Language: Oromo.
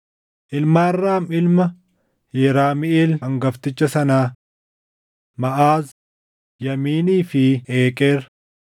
Ilmaan Raam ilma Yeramiʼeel hangafticha sanaa: Maʼaaz, Yaamiinii fi Eeqeer.